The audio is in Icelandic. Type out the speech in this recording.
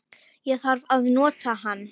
Ég þarf að nota hann